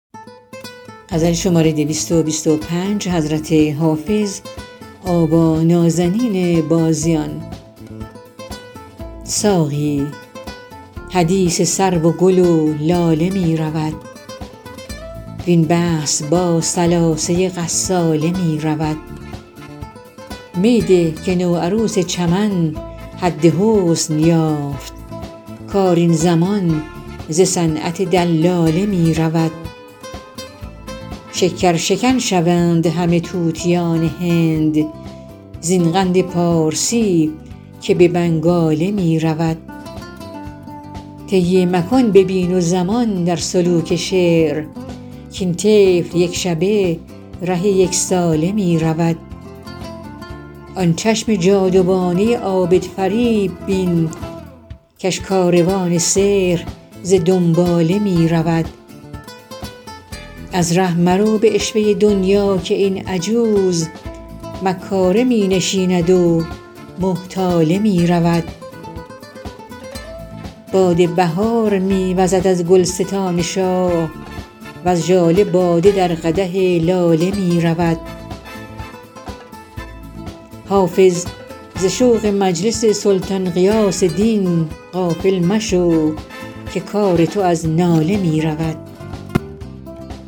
ساقی حدیث سرو و گل و لاله می رود وین بحث با ثلاثه غساله می رود می ده که نوعروس چمن حد حسن یافت کار این زمان ز صنعت دلاله می رود شکرشکن شوند همه طوطیان هند زین قند پارسی که به بنگاله می رود طی مکان ببین و زمان در سلوک شعر کاین طفل یک شبه ره یک ساله می رود آن چشم جادوانه عابدفریب بین کش کاروان سحر ز دنباله می رود از ره مرو به عشوه دنیا که این عجوز مکاره می نشیند و محتاله می رود باد بهار می وزد از گلستان شاه وز ژاله باده در قدح لاله می رود حافظ ز شوق مجلس سلطان غیاث دین غافل مشو که کار تو از ناله می رود